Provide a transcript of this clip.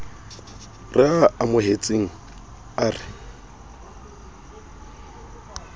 re a amohetseng a re